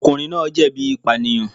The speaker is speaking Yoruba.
Ọkùnrin náà jẹ̀bi ìpànìyàn.